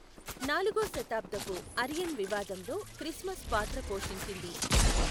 నాలుగో శతాబ్దపు అరియన్ వివాదంలో క్రిస్మస్ పాత్ర పోషించింది.